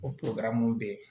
O mun be yen